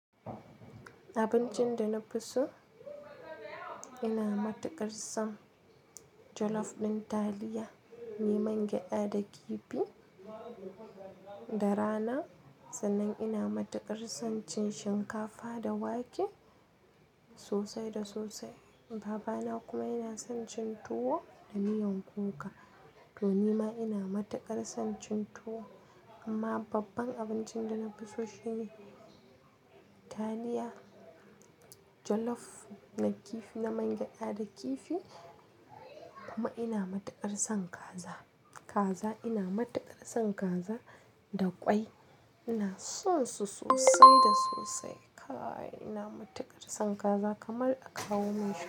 Abincin da na fi so ina matuƙar son jollof ɗin taliya mai man gyada da kifi da rana. Sannan ina matuƙar son cin shinkafa da wake sosai da sosai. Babana kuma yana son cin tuwo da miyan kuka. To nima ina matuƙar son cin tuwo amma babban abincin da na fi so shine taliya jollof na kifi na man gyada da kifi. Kuma ina matuƙar son kaza, kaza ina matuƙar son kaza da ƙwai. Ina son su sosai da sosai. Kaaai ina matuƙar son kaza kamar a kawo min shi.